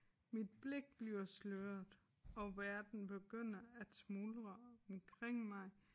Mit blik bliver sløret og verden begynder at smuldre omkring mig